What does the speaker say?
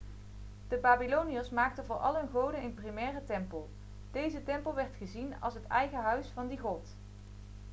de babyloniërs maakten voor al hun goden een primaire tempel deze tempel werd gezien als het eigen huis van die god